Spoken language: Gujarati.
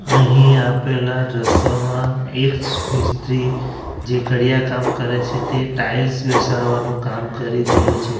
અહીં આપેલા દ્રશ્યમાં એક મિસ્ત્રી જે કડિયા કામ કરે છે તે ટાઇલ્સ બેસાડવાનું કામ કરી રહ્યો છે.